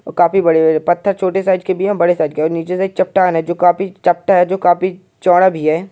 ओर काफी बड़े-बड़े पत्थर छोटे साइज़ के भी हैं बड़े साइज़ के और नीचे से एक चट्टान है जो काफी चपटा है जो काफी चौड़ा भी है।